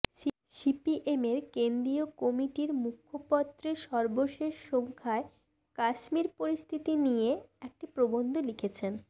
সিপিএমের কেন্দ্রীয় কমিটির মুখপত্রের সর্বশেষ সংখ্যায় কাশ্মীর পরিস্থিতি নিয়ে একটি প্রবন্ধ লিখেছেন